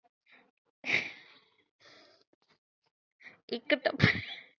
ਇਕ ਤਾ